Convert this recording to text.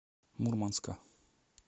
мурманска